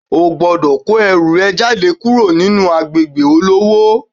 O gbodò kó ẹrù rẹ jáde kúrò ní agbègbè olówó